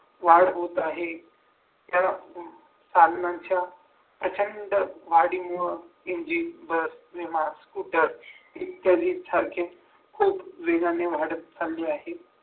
वाढ होत आहे त्यामुळे साधनांच्या प्रचंड वाढीमुळे इंजिन बस किंवा स्कूटर इत्यादी सारखे खूप वेगाने वाढत चालले आहेत